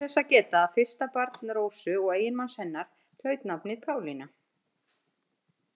Þá ber þess að geta að fyrsta barn Rósu og eiginmanns hennar hlaut nafnið Pálína.